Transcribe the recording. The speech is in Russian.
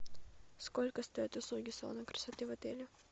сколько стоят услуги салона красоты в отеле